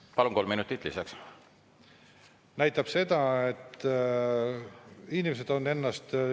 Kui me vaatame nüüd, mis selle seaduseelnõuga tehtud on, siis ka rahandusminister on põhjendanud, et 377 muudatusettepanekut on piisav, et see siduda usaldushääletusega.